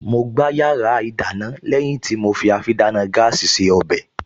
Mo gbá yàrá ìdáná lẹ́yìn tí mo fi àfidáná gáàsì se ọbẹ̀